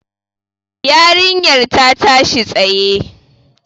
Yarinyar ta tashi tsaye.